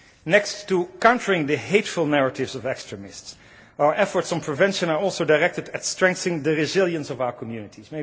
Next to countering the hateful narratives of extremists, our efforts on prevention are also directed at strengthening the resilience of our communities.